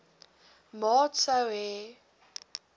maat sou hê